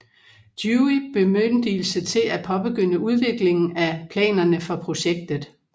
Dewey bemyndigelse til at påbegynde udviklingen af planerne for projektet